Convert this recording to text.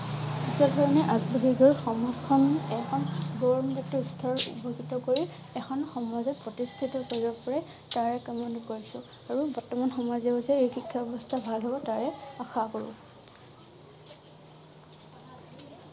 আগ বাঢ়ি গৈ সমাজখন উপকৃত কৰি এখন সমাজত প্ৰতিষ্ঠিত কৰিব পাৰে তাৰ কামনা কৰিছোঁ আৰু বৰ্তমান সমাজে ও যে এই শিক্ষা ব্যৱস্থা ভাল হব লাগে তাৰে আশা কৰোঁ